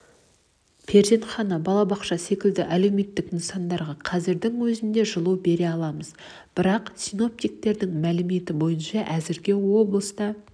перзентхана балабақша секілді әлеуметтік нысандарға қазірдің өзінде жылу бере аламыз бірақ синоптиктердің мәліметі бойынша әзірге облыста